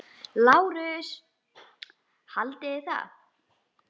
LÁRUS: Haldið þið það?